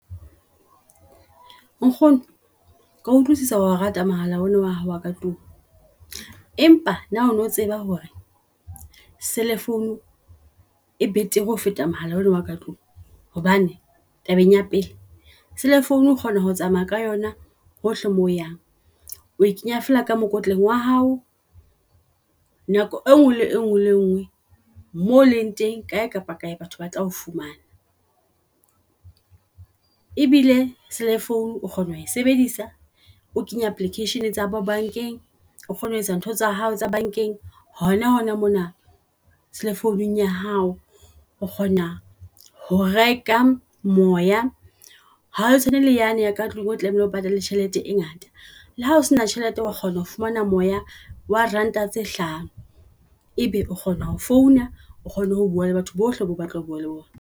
Nkgono kea utlwusisa wao rata mohala ona oa hao ka tlung. Empa na ono tseba hore e cellphone e betere ho feta mohala ona oa ka tlung. Hobane tabeng ya pele cellphone o kgona ho tsamaya ka yona hohle mo yang, o e kenya fela ka mokotleng wa hao. Nako e ngwe le e ngwe le e ngee mo leng teng kae kapa kae batho ba tla o fumana. E bile cellphone o kgona ho e sebedisa o kenya application tsa bo bankeng, o kgone ho etsa ntho tsa hao tsa bankeng hona hona mona cellphone-ung ya hao. O kgona ho reka moya, hao tshwane le yane ya ka tlung o tlamehile o patale tjhelete e ngata. Le ha o sena tjhelete wa kgona ho fumana moya wa ranta tse hlano, ebe o kgona ho founa o kgone ho bua le batho bohle bo o batlang ho bua le bona.